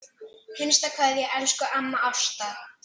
HINSTA KVEÐJA Elsku amma Ásta.